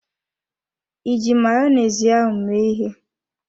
Iji Mayonezi ahụ mee ịhe?